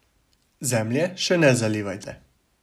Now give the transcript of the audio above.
Zemlje še ne zalivajte.